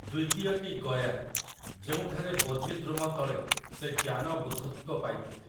ଦ୍ୱିତୀୟଟି ଗୟାରେ, ଯେଉଁଠାରେ ବୋଧିଦ୍ରୁମ ତଳେ ସେ ଜ୍ଞାନ ବୁଦ୍ଧତ୍ୱ ପାଇଥିଲେ ।